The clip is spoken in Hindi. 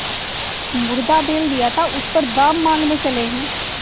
मुर्दा बैल दिया था उस पर दाम माँगने चले हैं